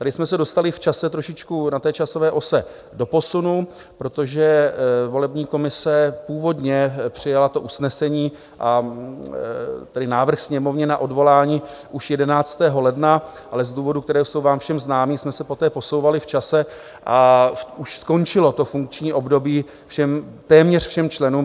Tady jsme se dostali v čase trošičku na té časové ose do posunu, protože volební komise původně přijala to usnesení, a tedy návrh Sněmovny na odvolání už 11. ledna, ale z důvodů, které jsou vám všem známé, jsme se poté posouvali v čase a už skončilo to funkční období téměř všem členům.